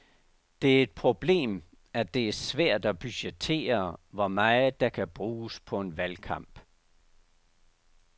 Det er et problem, at det er svært at budgettere hvor meget der kan bruges på en valgkamp.